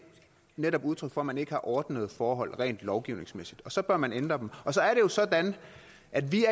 netop udtryk for at man ikke har ordnede forhold rent lovgivningsmæssigt og så bør man ændre dem og så er det jo sådan at vi